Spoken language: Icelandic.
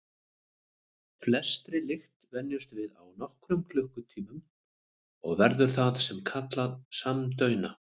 Flestri lykt venjumst við á nokkrum klukkutímum og verðum það sem er kallað samdauna.